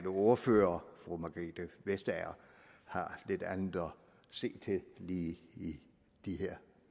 ordfører fru margrethe vestager har lidt andet at se til lige i de her